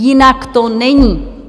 Jinak to není.